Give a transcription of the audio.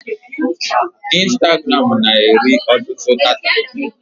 Instagram na-eri ọtụtụ data.